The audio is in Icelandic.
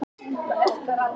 Siðareglur ekki brotnar